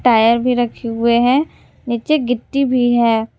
Tyre भी रखे हुए हैं नीचे गिट्टी भी है।